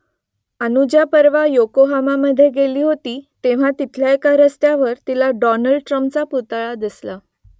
अनुजा परवा योकोहामामधे गेली होती तेव्हा तिथल्या एका रस्त्यावर तिला डॉनल्ड ट्रम्पचा पुतळा दिसला